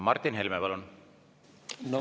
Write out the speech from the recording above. Martin Helme, palun!